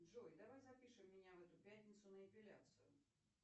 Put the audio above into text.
джой давай запишем меня в эту пятницу на эпиляцию